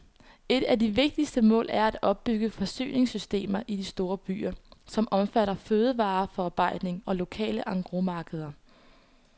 Et af de vigtigste mål er at opbygge forsyningssystemer i de store byer, som omfatter fødevareforarbejdning og lokale engrosmarkeder.